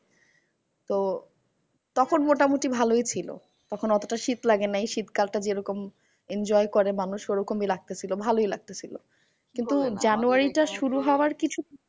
তো তখন মোটামুটি ভালোই ছিল। তখন অতটা শীত লাগে নাই শীতকাল টা যেরকম enjoy করে মানুষ ওরকমই লাগতেসিলো ভালোই লাগতেসিলো কিন্তু জানুয়ারিটা শুরু হওয়ার কিছু